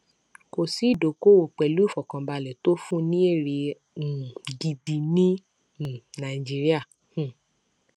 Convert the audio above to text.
kò sí ìdókòòwò pẹlú ìfọkànbalẹ tó fún ní èrè um gidi ní um nàìjíríà um